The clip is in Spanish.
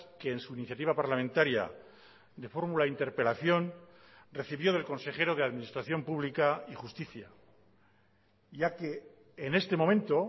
que en su iniciativa parlamentaria de fórmula interpelación recibió del consejero de administración pública y justicia ya que en este momento